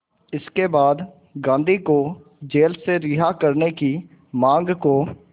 इसके बाद गांधी को जेल से रिहा करने की मांग को